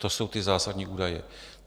To jsou ty zásadní údaje.